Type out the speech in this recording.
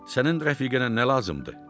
Sənin rəfiqənə nə lazımdır?